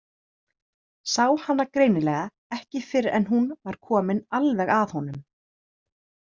Sá hana greinilega ekki fyrr en hún var komin alveg að honum.